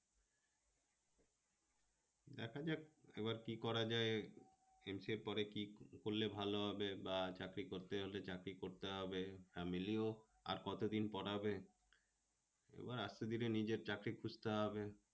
দেখা যাক এবার কি করা যায়, এর পরে কি? করলে ভালো হবে বা চাকরি করতে হলে চাকরি করতে হবে, family ও আর কতদিন পড়াবে? এবার আস্তে ধীরে নিজের চাকরি খুঁজতে হবে